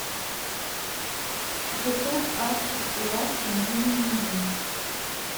ютуб артик и асти мне не нужны